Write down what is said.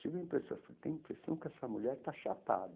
Tive a impressão, falei, tenho impressão que essa mulher está chapada.